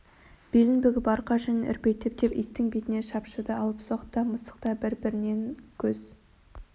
белін бүгіп арқа жүнін үрпитіп деп иттің бетіне шапшыды алыпсоқ та мысық та бір-бірінен көз